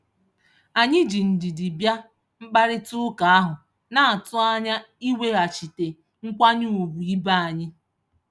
Anyị ji ndidi bịa mkparịtaụka ahụ, na-atụ anya iweghachite nkwanye ugwu ibe anyị.